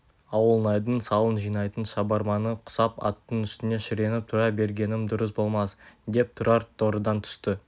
ауылнайдың салық жинайтын шабарманы құсап аттың үстінде шіреніп тұра бергенім дұрыс болмас деп тұрар торыдан түсті